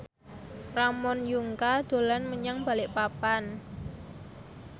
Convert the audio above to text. Ramon Yungka dolan menyang Balikpapan